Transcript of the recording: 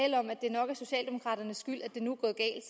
nok er socialdemokraternes skyld at det nu